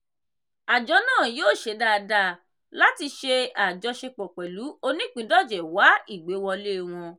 àjọ náà yóò ṣe dáadáa láti ṣe àjọṣepọ̀ pẹ̀lú oníìpíndọ̀jẹ̀ wá ìgbéwọlé wọn.